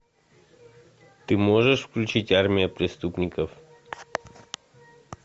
ты можешь включить армия преступников